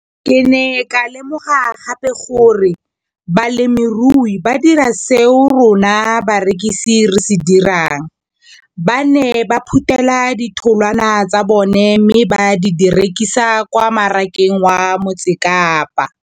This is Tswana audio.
Ke ne ka lemoga gape gore balemirui ba dira seo rona barekisi re se dirang ba ne ba phuthela ditholwana tsa bona mme ba di rekisa kwa marakeng wa Motsekapa.